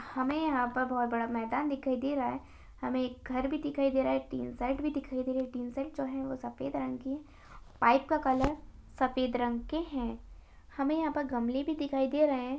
हमे यहाँ पर बहोत बड़ा मैदान दिखाई दे रहा है हमे एक घर भी दिखाई दे रहा है टिन शेड भी दिखाई दे रही है टिन शेड जो है वो सफेद रंग की पाइप का कलर सफेद रंग के है हमे यहाँ पर गमले भी दिखाई दे रहे है।